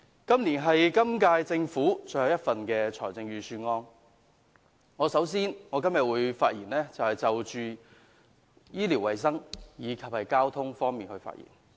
這是今屆政府最後一份預算案，首先，我會就醫療衞生和交通發言。